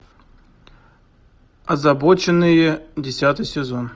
озабоченные десятый сезон